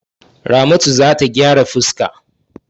Ramatu za ta gyara fuska.